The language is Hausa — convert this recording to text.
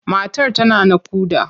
Matar tana naƙuda.